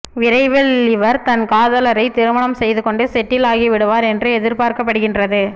விரைவில் இவர் தன் காதலரை திருமணம் செய்துக்கொண்டு செட்டில் ஆகிவிடுவார் என்று எதிர்ப்பார்க்கப்படுகின்றது